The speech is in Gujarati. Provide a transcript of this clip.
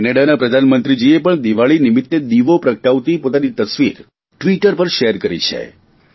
કેનેડાના પ્રધાનમંત્રીજીએ પણ દિવાળી નિમિત્તે દીવો પ્રગટાવતી પોતાની તસવીર ટ્વીટર પર શેર કરી છે